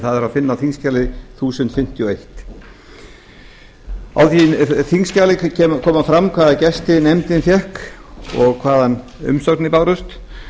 það er að finna á þingskjali þúsund fimmtíu og eitt í því þingskjali kemur fram hvaða gesti nefndin fékk og hvaða umsagnir bárust